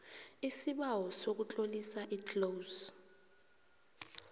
isibawo sokutlolisa iclose